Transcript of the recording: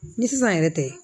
Ni sisan yɛrɛ tɛ